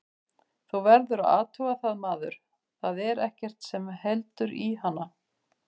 Þú verður að athuga það maður, að þar er ekkert sem heldur í hana.